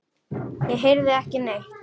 Ég heyrði ekki neitt.